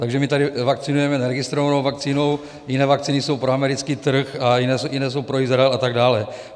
Takže my tady vakcinujeme neregistrovanou vakcínou, jiné vakcíny jsou pro americký trh a jiné jsou pro Izrael a tak dále.